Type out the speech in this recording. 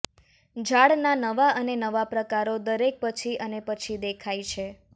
ઝાડના નવા અને નવા પ્રકારો દરેક પછી અને પછી દેખાય છે